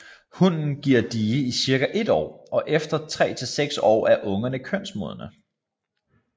Hunnen giver die i cirka et år og efter tre til seks år er ungerne kønsmodne